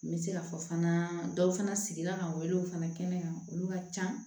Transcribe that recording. N bɛ se ka fɔ fana dɔw fana sigira ka welew fana kɛnɛya olu ka can